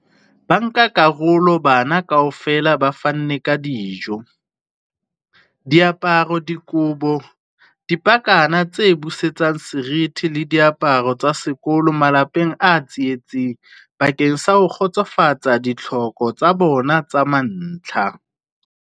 Bankakarolo bana kaofela ba fanne ka dijo, diaparo, dikobo, dipakana tse busetsang seriti le diaparo tsa sekolo malapeng a tsietsing bakeng sa ho kgotsofatsa ditlhoko tsa bona tsa mantlha.